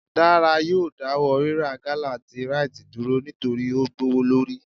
Dara yóò dawọ rirá gala tí Rite dúrò nitori o gbowolori.